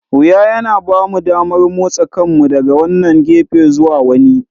Wuya yana ba mu damar motsa kanmu daga wannan gefe zuwa wani.